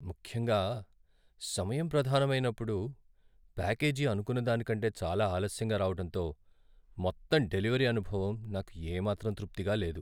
ముఖ్యంగా సమయం ప్రధానం అయినప్పుడు, ప్యాకేజీ అనుకున్న దానికంటే చాలా ఆలస్యంగా రావటంతో, మొత్తం డెలివరీ అనుభవం నాకు ఏమాత్రం తృప్తిగా లేదు.